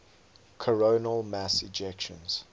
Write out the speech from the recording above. coronal mass ejections